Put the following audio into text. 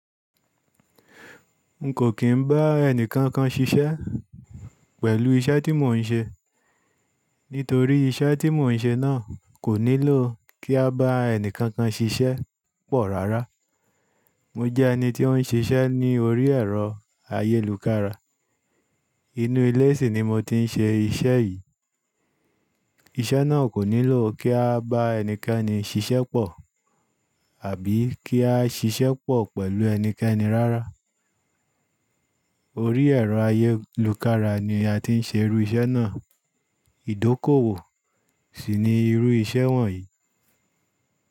N kò kín bá ẹnìkankan ṣiṣẹ́ pẹ̀lú iṣẹ́ tí mò ń ṣe. Nítorí iṣẹ́ tí mò ń ṣe náà kò nílò kí a bá ẹníkankan ṣiṣẹ́ pọ̀ rárá. Mo jẹ́ ẹni tí ó ń ṣiṣẹ́ ní orí ẹ̀rọ ayélukára. Inú ilé sì ni mo ti ń ṣe iṣẹ́ yìí. Iṣẹ́ náà kò nílò kí a bá ẹnikẹ́ni ṣiṣẹ́ pọ̀ àbí kí a ṣiṣẹ́ pọ̀ pẹ̀lú ẹnikẹ́ni rárá. Orí ẹ̀rọ ayélukára ni a ti ń ṣe irú iṣẹ́ náà. Ìdókòwò sì ni irú iṣẹ́ wọ̀nyí.